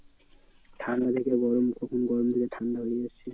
ঠান্ডা থেকে গরম কখন গরম থেকে ঠান্ডা হয়ে যাচ্ছে।